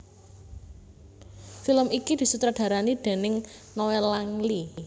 Film iki disutradarani déning Noel Langley